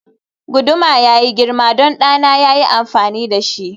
guduma yayi girma don ɗana ya yi amfani da shi